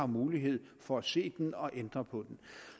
mulighed for at se den og ændre på den